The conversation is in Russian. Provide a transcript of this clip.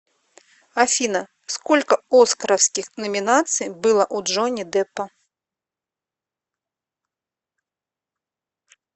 афина сколько оскаровских номинаций было у джонни деппа